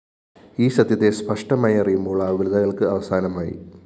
ഈ സത്യത്തെ സ്പഷ്ടമായി അറിയുമ്പോള്‍ ആകുലതകള്‍ക്ക് അവസാനമായി